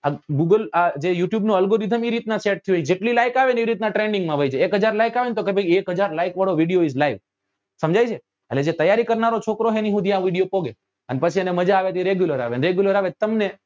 આ google આ જે youtube નું algorithm એ રીત નાં set થયું હોય જેટલી like આવે એટલું એ trending માં વયી જાય એક હજાર like આવે ને તો કે એક હજાર like વાળો video is live સમજાય છે એટલે જે તૈયારી કરનારો છોકરો હે એની હુધી આ video પોકે અને પછી એને માજા આવે તો એ regular આવે ને regular આવે તો તમને